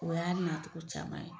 O y'a nacogo caman ye.